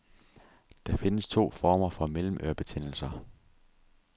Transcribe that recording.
Der findes to former for mellemørebetændelser.